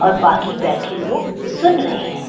और बाकी बैठे लोग सुन रहें हैं।